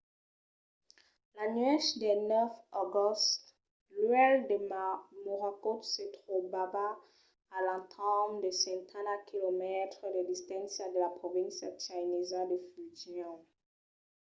la nuèch del 9 d’agost l'uèlh de morakot se trobava a l’entorn de setanta quilomètres de distància de la provincia chinesa de fujian